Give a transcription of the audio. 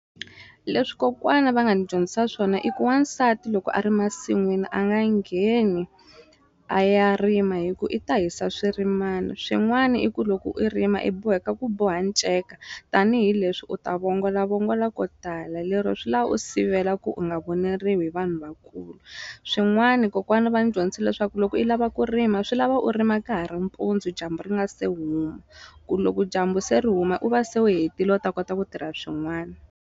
Leswi kokwana va nga ni dyondzisa swona i ku wansati loko a ri masin'wini a nga ngheni a ya rima hi ku i ta hisa swirimani swin'wani i ku loko u rima i boheka ku boha nceka tanihileswi u ta vongolavongola ko tala lero swi la u sivela ku u nga voneriwi hi vanhu vakulu swin'wani kokwana va ni dyondzisile swa ku loko i lava ku rima swi lava u rima ka ha ri mpundzu dyambu ri nga se huma ku loko dyambu se ri huma u va se u hetile u ta kota ku tirha swin'wana.